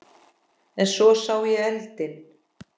En svo sá ég eldinn.